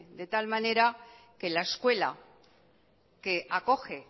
de tal manera que la escuela que acoge